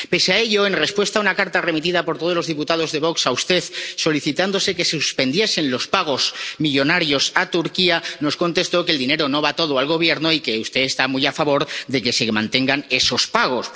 Pese a ello, en respuesta a una carta remitida por todos los diputados de Vox a usted solicitándose que se suspendiesen los pagos millonarios a Turquía, nos contestó que el dinero no va todo al Gobierno y que usted está muy a favor de que se mantengan esos pagos.